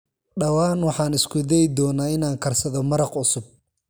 Dhawaan, waxaan isku dayi doonaa inaan karsado maraq cusub.